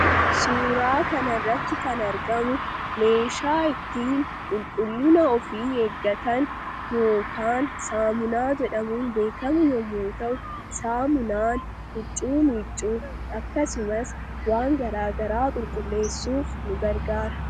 Suuraa kana irratti kan argamu, meeshaa ittiin qulqulliina ofii eeggatan yookaan saamunaa jedhamuun beekamu yemmuu ta'u, saamunaan huccuu miiccuuf akkasumas waan garaagaraa qulqulleessuuf nu gargaaru.